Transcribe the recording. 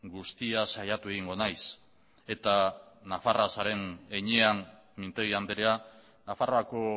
guztia saiatu egingo naiz eta nafarra zaren heinean mintegi andrea nafarroako